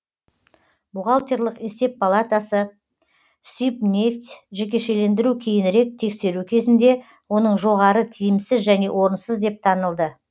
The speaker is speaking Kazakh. бухгалтерлік есеп палатасы сибнефть жекешелендіру кейінірек тексеру кезінде оның жоғары тиімсіз және орынсыз деп танылды